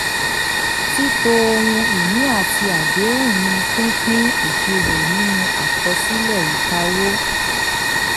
tííto ohun ìní àti àdéhùn ni pípín ìṣirò nínú àkọsílẹ̀ ìkáwó.